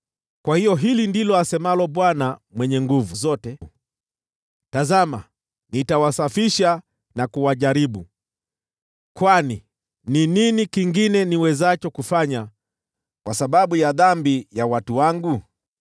Kwa hiyo hili ndilo asemalo Bwana Mwenye Nguvu Zote: “Tazama, nitawasafisha na kuwajaribu, kwani ni nini kingine niwezacho kufanya kwa sababu ya dhambi ya watu wangu?